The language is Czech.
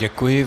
Děkuji.